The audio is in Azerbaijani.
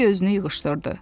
Bambi özünü yığışdırdı.